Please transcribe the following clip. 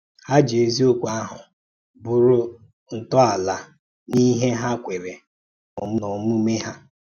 Há jì èzíòkwú áhụ̀ bụrụ́ ntọ́álà n’íhè há kwèèrè nà ọ̀múmè hà.